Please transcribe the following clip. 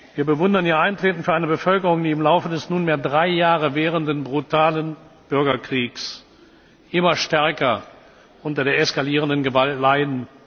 Wir bewundern ihr Eintreten für eine Bevölkerung, die im Laufe des nunmehr drei Jahre währenden brutalen Bürgerkriegs immer stärker unter der eskalierenden Gewalt leidet.